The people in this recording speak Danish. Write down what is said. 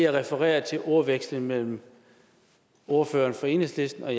refererer til ordvekslingen mellem ordføreren for enhedslisten og